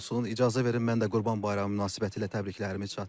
İcazə verin mən də Qurban Bayramı münasibətilə təbriklərimi çatdırım.